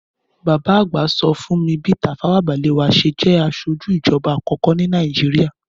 Bàbá àgbà so fun mí bi Tafawa Balewa ṣe je asojú ìjoba àkókó ni Nàíjíríà.